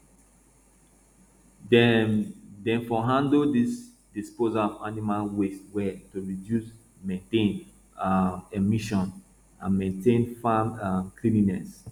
dem dem for handle di disposal of animal waste well to reduce methane um emissions and maintain farm um cleanliness